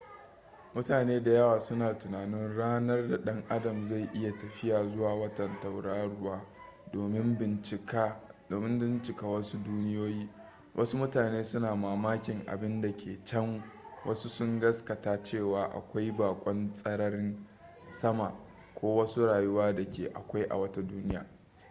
mutane da yawa suna tunanin ranar da ɗan adam zai iya tafiya zuwa wata tauraruwa domin bincika wasu duniyoyi wasu mutane suna mamakin abin da ke can wasu sun gaskata cewa akwai bakon tsararin sama ko wasu rayuwa da ke akwai a wata duniya